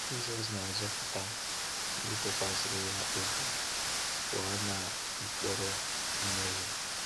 Jisọs na-azọpụta ndị tụkwasịrị Ya obi pụọ na mkpọrọ mmehie.